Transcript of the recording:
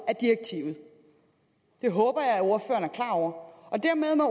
af direktivet det håber jeg at ordføreren er klar over og dermed må